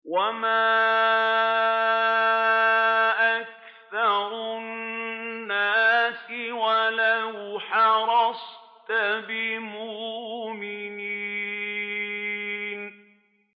وَمَا أَكْثَرُ النَّاسِ وَلَوْ حَرَصْتَ بِمُؤْمِنِينَ